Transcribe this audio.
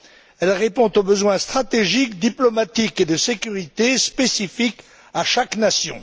Elle répond aux besoins stratégiques, diplomatiques et de sécurité spécifiques à chaque nation.